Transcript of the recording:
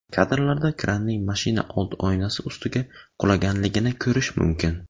Kadrlarda kranning mashina old oynasi ustiga qulaganligini ko‘rish mumkin.